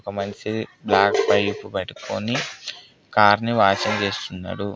ఒక మనిషి black pipe పట్టుకొని కార్ని వాషింగ్ చేస్తున్నాడు.